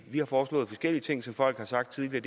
vi har foreslået forskellige ting som folk har sagt tidligere